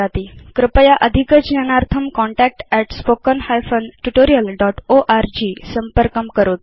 कृपया अधिकज्ञानार्थं contact at spoken hyphen tutorial dot org संपर्कं करोतु